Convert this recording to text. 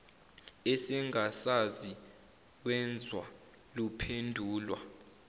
esengasazi wezwa luphendulwa